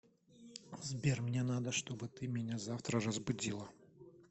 сбер мне надо что бы ты меня завтра разбудила